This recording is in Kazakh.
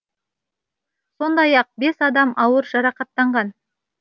сондай ақ бес адам ауыр жарақаттанған